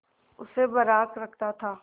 उसे बर्राक रखता था